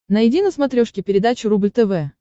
найди на смотрешке передачу рубль тв